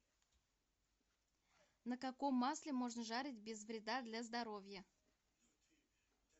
на каком масле можно жарить без вреда для здоровья